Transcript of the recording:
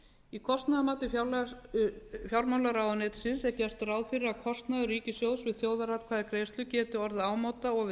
í kostnaðarmati fjármálaráðuneytisins er gert ráð fyrir að kostnaður ríkissjóðs við þjóðaratkvæðagreiðslu geti orðið ámóta og við